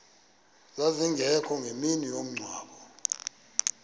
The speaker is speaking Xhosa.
zazingekho ngemini yomngcwabo